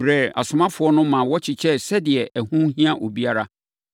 brɛɛ asomafoɔ no maa wɔkyekyɛeɛ sɛdeɛ ɛho hia obiara.